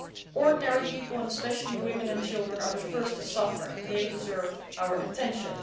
Ordinary people, especially women and children, are the first to suffer, and they deserve our attention.